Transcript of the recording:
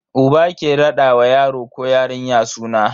Uba ke rada wa yaro ko yarinya suna.